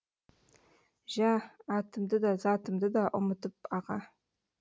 жә атымды да затымды да ұмыттым аға